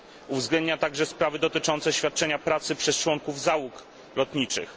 Uwzględnia także sprawy dotyczące świadczenia pracy przez członków załóg lotniczych.